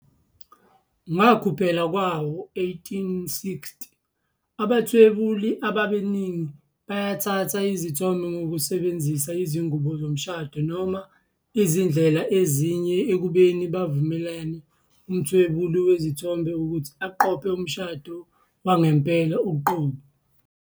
Ngakuphela kwawo-1860, abathwebuli abaningi bayathatha izithombe ngokusebenzisa izingubo zomshado noma izindlela ezinye, ekubeni bavumela umthwebuli wezithombe ukuthi aqophe umshado wangempela uqobo.